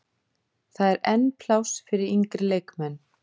Það er enn pláss fyrir yngri leikmenn.